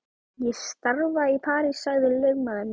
Ég starfa í París sagði lögmaðurinn.